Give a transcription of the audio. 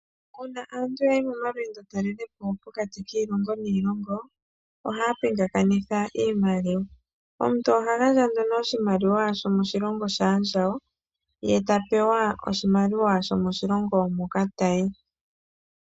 Uuna aantu ya yi momalweendo talele po pokati kiilongo niilongo, ohaya pingakanitha iimaliwa. Omuntu oha gandja nduno oshimaliwa shomoshilongo shaandjawo, ye ta pewa oshimaliwa shomoshilongo moka ta yi.